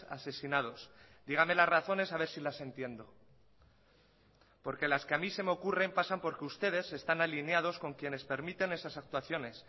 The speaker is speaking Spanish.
asesinados dígame las razones a ver si las entiendo porque las que a mí se me ocurren pasan porque ustedes están alineados con quienes permiten esas actuaciones